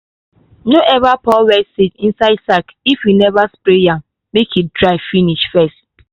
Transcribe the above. no ever pour wet seed inside sack if you never spray am make e dry finish first.